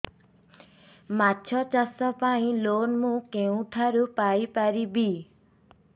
ମାଛ ଚାଷ ପାଇଁ ଲୋନ୍ ମୁଁ କେଉଁଠାରୁ ପାଇପାରିବି